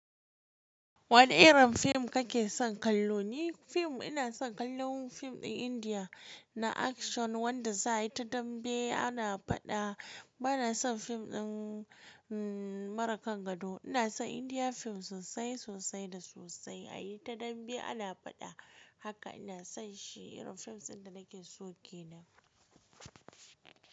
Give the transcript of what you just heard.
Wane irin fim kake son kallo? Ni fim ina son kallon fim ɗin Indiya na akshan wanda za a yi ta dambe ana faɗa. Ba na son fim ɗin, umm, mara kan gado. Ina son Indiya fim sosai, sosai da sosai. A yi ta dambe ana faɗa haka ina son shi. Irin fim ɗin da nake soke ne.